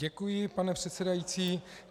Děkuji, pane předsedající.